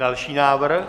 Další návrh?